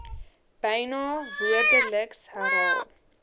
byna woordeliks herhaal